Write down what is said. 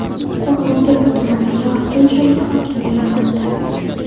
Qo‘rg‘ontepa tumaniga vaqtinchalik hokim tayinlandi.